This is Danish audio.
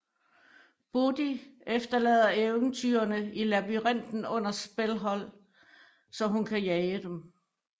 Bodhi efterlader eventyrerne i labyrinten under Spellhold så hun kan jage dem